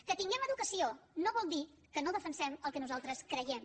que tinguem educació no vol dir que no defensem el que nosaltres creiem